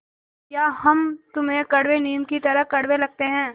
या हम तुम्हें कड़वे नीम की तरह कड़वे लगते हैं